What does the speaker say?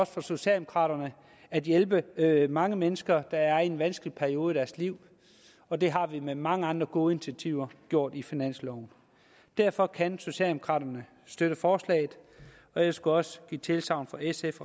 for socialdemokraterne at hjælpe mange mennesker der er i en vanskelig periode i deres liv og det har vi med mange andre gode initiativer gjort i finansloven derfor kan socialdemokraterne støtte forslaget og jeg skulle også give tilsagn fra sf